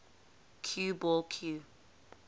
cue ball cue